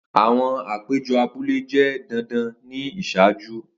Awọn apejọ abule jẹ dandan ni iṣaaju.